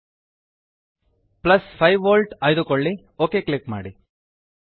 5V plus ೫ volt ಆಯ್ದುಕೊಳ್ಳಿ okay click ಮಾಡಿ